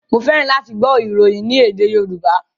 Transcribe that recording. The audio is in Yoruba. Mo fẹ́ràn láti gbọ́ ìròyìn ní èdè Yorùbá.